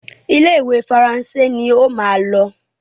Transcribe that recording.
Ile-iwe Faransé ní ọ má ló.